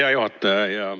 Hea juhataja!